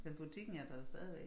Men butikken er der stadigvæk